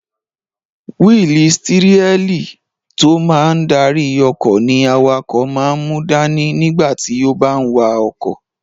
Wíìlì stírẹ́lì tó máa n darí ọkọ̀ ní awakọ̀ máa n mú dání nígbà tí ó bá n wa ọkọ̀